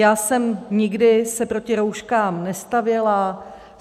Já jsem se nikdy proti rouškám nestavěla.